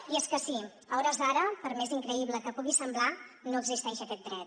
i és que sí a hores d’ara per més increïble que pugui semblar no existeix aquest dret